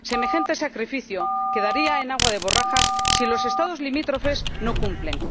Semejante sacrificio quedaría en agua de borrajas si los Estados limítrofes no cumplen.